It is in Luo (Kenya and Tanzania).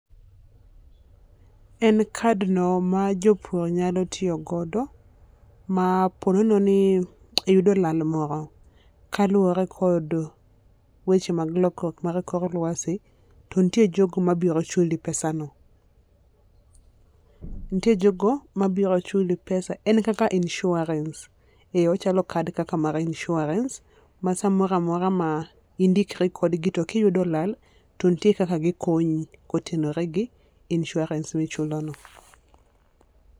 En card no ma jopur nyalo tiyo godo ma po nono ni iyudo lal moro kaluore gi weche mar lokruok mar kor luasi to nitie jogo ma biro chuli pesa no. Nitiere jogo ma biro chuli pesa en kaka insurance ,ochalo kaka kadi kaka mar insurance ma sa moro amora ma indikri kod gi to ki iyudo lal to nitie kaka gi konyi kotenore gi insurance mi ichulo no.